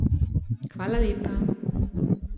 Hvala lepa.